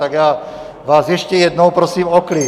Tak já vás ještě jednou prosím o klid.